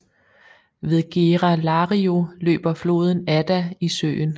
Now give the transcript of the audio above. Ved Gera Lario løber floden Adda i søen